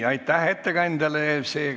Aitäh, ettekandja!